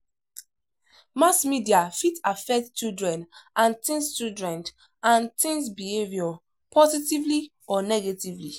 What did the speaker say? Mass media fit affect children and teens children and teens behavior positively or negatively